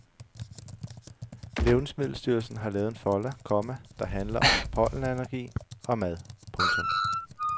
Levnedsmiddelstyrelsen har lavet en folder, komma der handler om pollenallergi og mad. punktum